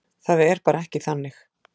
Það er bara ekki þannig.